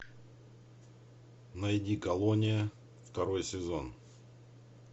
найди колония второй сезон